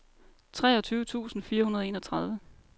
treogtyve tusind fire hundrede og enogtredive